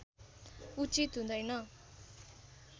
उचित हुँदैन